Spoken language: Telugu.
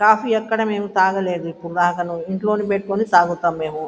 కాఫీ ఎక్కడ మేము తాగలేదు. ఎప్పుడు తాగాను ఇంట్లో పెట్టుకునే తాగుతాము మేము.